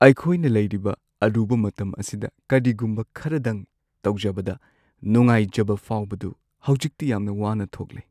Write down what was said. ꯑꯩꯈꯣꯏꯅ ꯂꯩꯔꯤꯕ ꯑꯔꯨꯕ ꯃꯇꯝ ꯑꯁꯤꯗ ꯀꯔꯤꯒꯨꯝꯕ ꯈꯔꯗꯪ ꯇꯧꯖꯕꯗ ꯅꯨꯡꯉꯥꯏꯖꯕ ꯐꯥꯎꯕꯗꯨ ꯍꯧꯖꯤꯛꯇꯤ ꯌꯥꯝꯅ ꯋꯥꯅ ꯊꯣꯛꯂꯦ ꯫